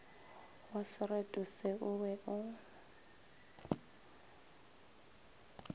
wasereto se o be o